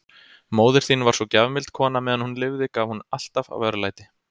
Móðir þín var svo gjafmild kona, meðan hún lifði gaf hún alltaf af örlæti.